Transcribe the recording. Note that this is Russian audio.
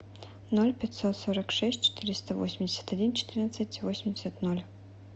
ноль пятьсот сорок шесть четыреста восемьдесят один четырнадцать восемьдесят ноль